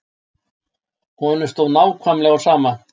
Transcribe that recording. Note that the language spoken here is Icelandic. Honum stóð nákvæmlega á sama.